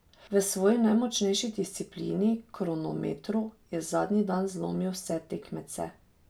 V svoji najmočnejši disciplini, kronometru, je zadnji dan zlomil vse tekmece.